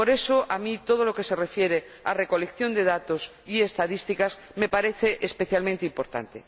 Por eso, a mí, todo lo que se refiere a recolección de datos y estadísticas me parece especialmente importante.